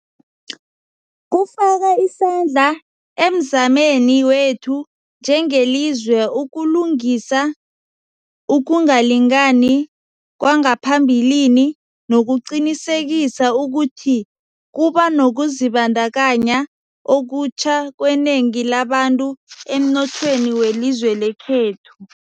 Kufaka isandla emzameni wethu njengelizwe ukulungisa ukungalingani kwangaphambilini nokuqinisekisa ukuthi kuba nokuzibandakanya okutjha kwenengi labantu emnothweni welizwe lekhethu.